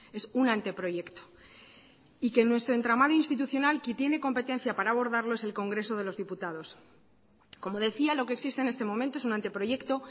es un anteproyecto y que en nuestro entramado institucional que tiene competencia para abordarlo es el congreso de los diputados como decía lo que existe en este momento es un anteproyecto